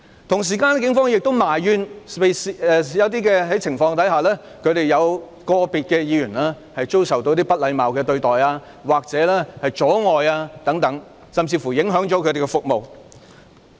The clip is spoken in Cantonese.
另一方面，警方亦埋怨在某些情況下，有個別警員遭受不禮貌對待或阻礙等，甚至影響他們的服務。